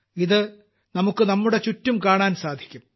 ഇത് നമുക്ക് നമ്മുടെ ചുറ്റിനും കാണാൻ സാധിക്കും